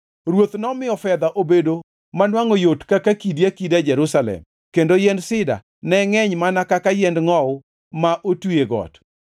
Ruoth nomiyo fedha obedo manwangʼo yot ka kidi akida Jerusalem kendo yiend sida ne ngʼeny mana ka yiend ngʼowu ma otwi e got.